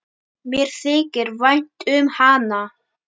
Mér þykir vænt um hana.